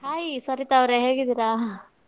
Hai Sarita ಅವರೇ ಹೇಗಿದ್ದೀರಾ?